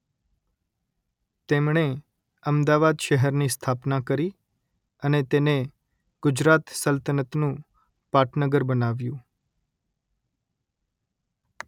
તેમણે અમદાવાદ શહેરની સ્થાપના કરી અને તેને ગુજરાત સલ્તનતનું પાટનગર બનાવ્યુ